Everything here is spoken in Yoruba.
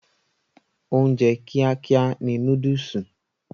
Oúnjẹ kíá kíá ni núdùùsì.